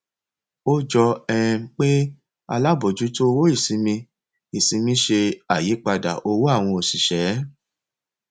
ó jọ um pé alábòójútó owó ìsinmi ìsinmi ṣe àyípadà owó àwọn òṣìṣẹ